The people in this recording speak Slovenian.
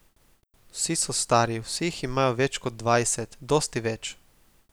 Vsi so stari, vsi jih imajo več kot dvajset, dosti več.